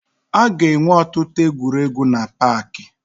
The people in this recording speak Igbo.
Aga enwe ọtụtụ egwuregwu na paakị